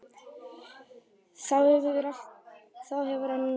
Þá hefur hann öll völd.